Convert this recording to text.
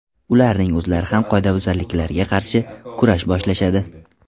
Ularning o‘zlari ham qoidabuzarliklarga qarshi kurash boshlashadi.